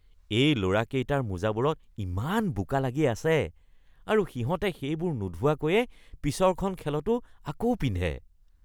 এই ল'ৰাকেইটাৰ মোজাবোৰত ইমান বোকা লাগি আছে আৰু সিহঁতে সেইবোৰ নোধোৱাকৈয়ে পিছৰখন খেলতো আকৌ পিন্ধে।